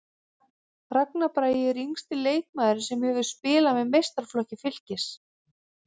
Ragnar Bragi er yngsti leikmaðurinn sem hefur spilað með meistaraflokki Fylkis.